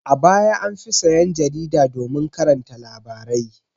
A baya an fi sayan jarida domin karanta labarai.